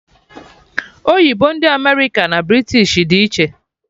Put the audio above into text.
Oyibo ndị America na British dị iche